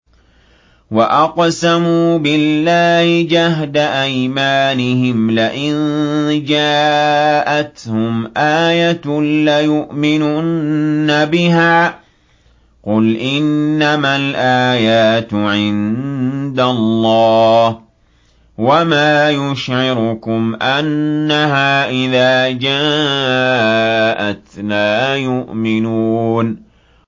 وَأَقْسَمُوا بِاللَّهِ جَهْدَ أَيْمَانِهِمْ لَئِن جَاءَتْهُمْ آيَةٌ لَّيُؤْمِنُنَّ بِهَا ۚ قُلْ إِنَّمَا الْآيَاتُ عِندَ اللَّهِ ۖ وَمَا يُشْعِرُكُمْ أَنَّهَا إِذَا جَاءَتْ لَا يُؤْمِنُونَ